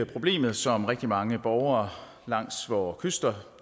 problemet som rigtig mange borgere langs vore kyster